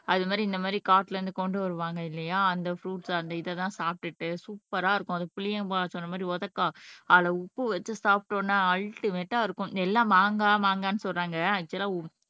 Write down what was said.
அது மாதிரி இந்த மாதிரி காட்டுல இருந்து கொண்டு வருவாங்க இல்லையா அந்த பிருய்ட்ஸ் அந்த இதைதான் சாப்பிட்டுட்டு சூப்பர்ரா இருக்கும் அந்த புளியம்மா சொன்ன மாதிரி உதைக்காய் அதுல உப்பு வச்சு சாப்பிட்டோம்னா அல்டிமேட்ட இருக்கும் எல்லாம் மாங்காய் மாங்காய்ன்னு சொல்றாங்க ஆக்சுவல்லா